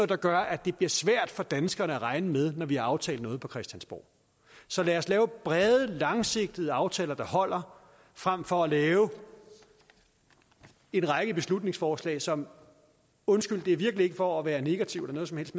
der gør at det bliver svært for danskerne at regne med når vi har aftalt noget på christiansborg så lad os lave brede langsigtede aftaler der holder frem for at lave en række beslutningsforslag som undskyld det er virkelig ikke for at være negativ eller noget som helst